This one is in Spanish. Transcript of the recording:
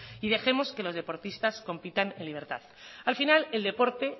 y dejemos que los deportistas compitan en libertad al final el deporte